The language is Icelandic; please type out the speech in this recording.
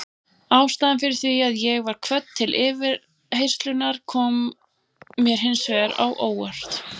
Ástæðan fyrir því að ég var kvödd til yfirheyrslunnar kom mér hins vegar á óvart.